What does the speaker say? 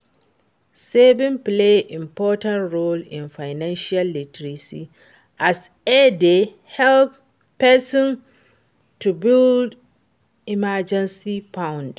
saving play important role in financial literacy as e dey help pesin to build emergency fund.